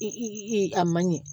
a man ɲɛ